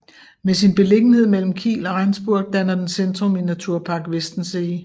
Med sin beliggenhed mellem Kiel og Rendsburg danner den centrum i Naturpark Westensee